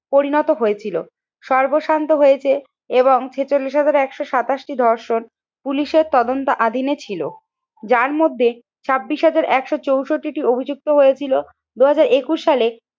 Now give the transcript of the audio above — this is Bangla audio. পরিণত হয়েছিল। সর্বস্বান্ত হয়েছে এবং ছেচল্লিশ হাজার একশো সাতাশ টি ধর্ষণ পুলিশের তদন্ত অধীনে ছিল। যার মধ্যে ছাব্বিশ হাজার একশো চৌষট্টি টি অভিযুক্ত হয়েছিল দুই হাজার একুশ সালে